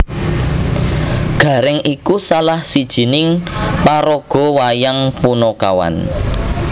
Garèng iku salah sijining paraga wayang panakawan